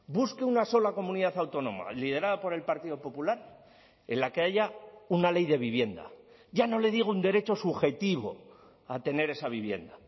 busque una sola comunidad autónoma liderada por el partido popular en la que haya una ley de vivienda ya no le digo un derecho subjetivo a tener esa vivienda